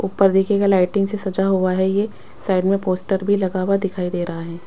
ऊपर देखिएगा लाइटिंग से सजा हुआ है ये साइड में पोस्टर भी लगा हुआ दिखाई दे रहा है।